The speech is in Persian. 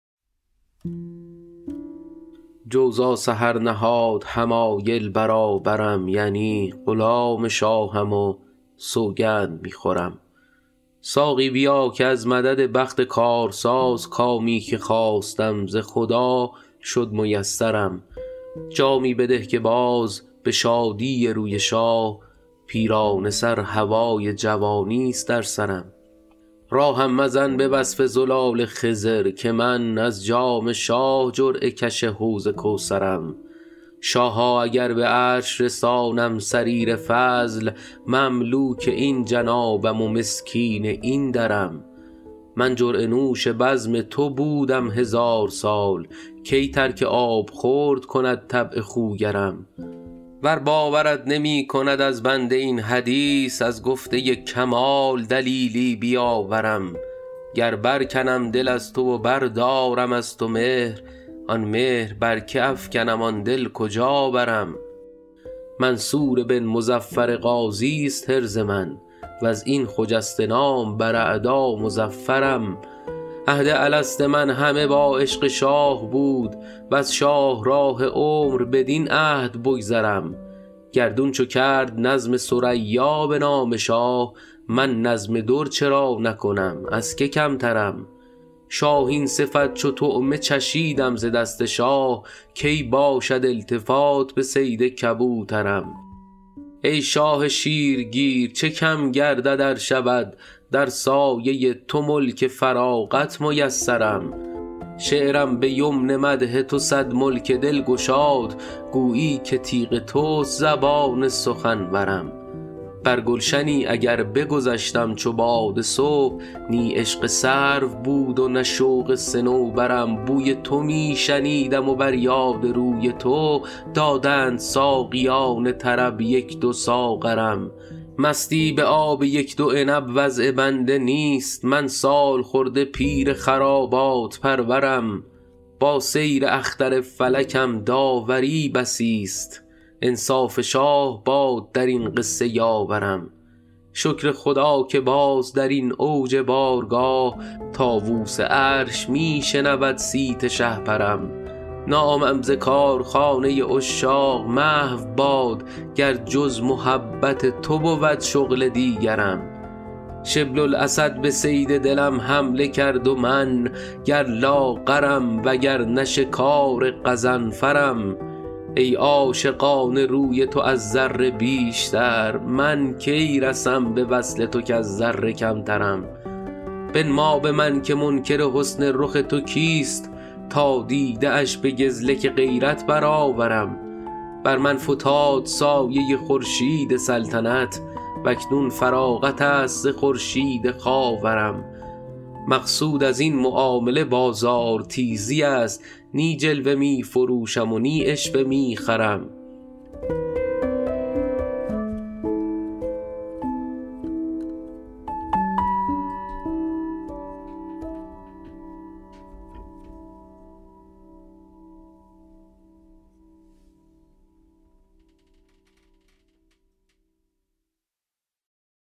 جوزا سحر نهاد حمایل برابرم یعنی غلام شاهم و سوگند می خورم ساقی بیا که از مدد بخت کارساز کامی که خواستم ز خدا شد میسرم جامی بده که باز به شادی روی شاه پیرانه سر هوای جوانیست در سرم راهم مزن به وصف زلال خضر که من از جام شاه جرعه کش حوض کوثرم شاها اگر به عرش رسانم سریر فضل مملوک این جنابم و مسکین این درم من جرعه نوش بزم تو بودم هزار سال کی ترک آبخورد کند طبع خوگرم ور باورت نمی کند از بنده این حدیث از گفته کمال دلیلی بیاورم گر برکنم دل از تو و بردارم از تو مهر آن مهر بر که افکنم آن دل کجا برم منصور بن مظفر غازیست حرز من و از این خجسته نام بر اعدا مظفرم عهد الست من همه با عشق شاه بود وز شاهراه عمر بدین عهد بگذرم گردون چو کرد نظم ثریا به نام شاه من نظم در چرا نکنم از که کمترم شاهین صفت چو طعمه چشیدم ز دست شاه کی باشد التفات به صید کبوترم ای شاه شیرگیر چه کم گردد ار شود در سایه تو ملک فراغت میسرم شعرم به یمن مدح تو صد ملک دل گشاد گویی که تیغ توست زبان سخنورم بر گلشنی اگر بگذشتم چو باد صبح نی عشق سرو بود و نه شوق صنوبرم بوی تو می شنیدم و بر یاد روی تو دادند ساقیان طرب یک دو ساغرم مستی به آب یک دو عنب وضع بنده نیست من سالخورده پیر خرابات پرورم با سیر اختر فلکم داوری بسیست انصاف شاه باد در این قصه یاورم شکر خدا که باز در این اوج بارگاه طاووس عرش می شنود صیت شهپرم نامم ز کارخانه عشاق محو باد گر جز محبت تو بود شغل دیگرم شبل الاسد به صید دلم حمله کرد و من گر لاغرم وگرنه شکار غضنفرم ای عاشقان روی تو از ذره بیشتر من کی رسم به وصل تو کز ذره کمترم بنما به من که منکر حسن رخ تو کیست تا دیده اش به گزلک غیرت برآورم بر من فتاد سایه خورشید سلطنت و اکنون فراغت است ز خورشید خاورم مقصود از این معامله بازارتیزی است نی جلوه می فروشم و نی عشوه می خرم